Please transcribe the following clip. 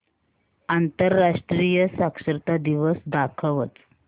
आंतरराष्ट्रीय साक्षरता दिवस दाखवच